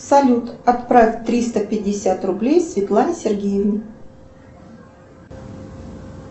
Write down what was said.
салют отправь триста пятьдесят рублей светлане сергеевне